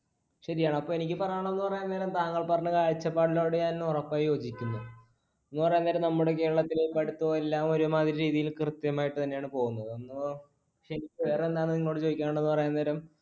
ശരിയാണ്. അപ്പൊ എനിക്ക് പറയാം എന്ന് പറയാൻ നേരം താങ്കൾ പറഞ്ഞ കാഴ്ചപ്പാടിനോട് ഞാൻ ഉറപ്പായി യോജിക്കുന്നു എന്നുപറയാൻ നേരം നമ്മുടെ കേരളത്തില് ഇപ്പൊ അടുത്തെല്ലാം ഒരുമാതിരി രീതിയിൽ കൃത്യമായിട്ട് തന്നെയാണ് പോകുന്നത്. പിന്നെ വേറെ എന്താണ് എനിക്ക് ചോദിക്കാനുണ്ടെന്നു പറയാൻ നേരം